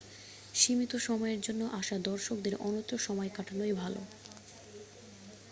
সীমিত সময়ের জন্য আসা দর্শকদের অন্যত্র সময় কাটানোই ভালো